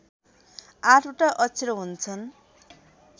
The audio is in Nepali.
आठवटा अक्षर हुन्छन्